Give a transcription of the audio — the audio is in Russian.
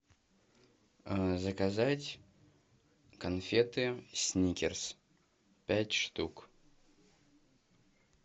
заказать конфеты сникерс пять штук